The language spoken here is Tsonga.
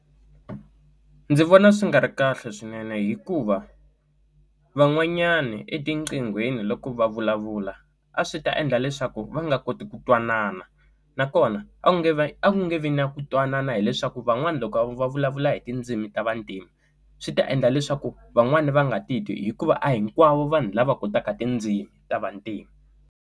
Ndzi vona swi nga ri kahle swinene hikuva van'wanyani etinqingheni loko va vulavula a swi ta endla leswaku va nga koti ku twanana nakona a nge a ku nge vi na ku twanana hileswaku van'wana loko va vulavula hi tindzimi ta vantima swi ta endla leswaku van'wana va nga ti twi hikuva a hinkwavo vanhu lava kotaka tindzimi ta vantima.